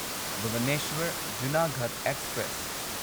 Bhubaneswar Junagarh express